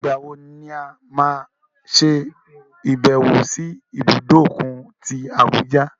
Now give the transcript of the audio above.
Ìgbàwo ni a máa ṣe ìbẹ̀wò sí ibùdó òkun tí Abuja?